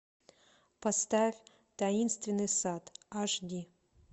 поставь таинственный сад аш ди